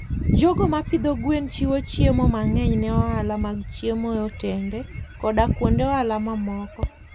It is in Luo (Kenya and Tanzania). jogo ma pidho gwen chiwo chiemo mang'eny ne ohala mag chiemo e otende koda kuonde ohala mamoko.